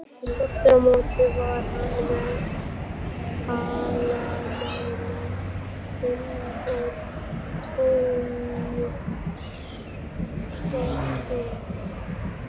Aftur á móti var hann með hallamælinn og tommustokkinn.